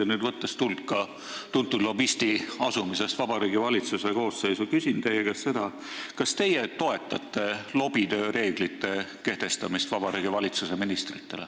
Võttes nüüd tuld ka tuntud lobisti asumisest Vabariigi Valitsuse koosseisu, küsin teie käest, kas teie toetate lobitöö reeglite kehtestamist Vabariigi Valitsuse ministritele.